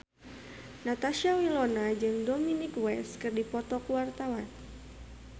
Natasha Wilona jeung Dominic West keur dipoto ku wartawan